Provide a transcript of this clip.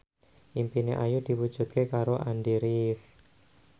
impine Ayu diwujudke karo Andy rif